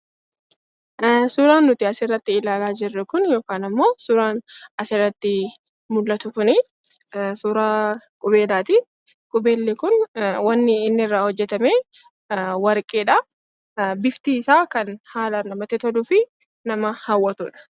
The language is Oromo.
Suuraan nuti asirratti ilaalaa jirru kun suuraa qubeellaati. Qubeelli kun wanti inni irraa hojjatame warqeedha. Bifti isaa kan haalaan namatti toluu fi nama hawwatudha.